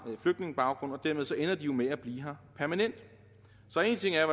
flygtningebaggrund og dermed ender de jo med at blive her permanent så en ting er